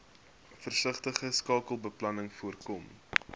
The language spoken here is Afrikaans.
versigtige sakebeplanning voorkom